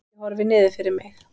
Ég horfi niður fyrir mig.